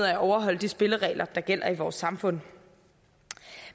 af at overholde de spilleregler der gælder i vores samfund